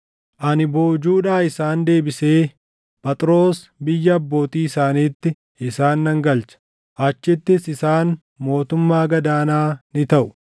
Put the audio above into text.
Ani boojuudhaa isaan deebisee Phaxroos biyya abbootii isaaniitti isaan nan galcha. Achittis isaan mootummaa gad aanaa ni taʼu.